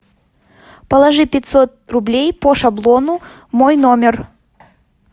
положи пятьсот рублей по шаблону мой номер